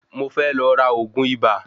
Mo fe lọ ra ògún ibà.